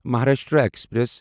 Maharashtra express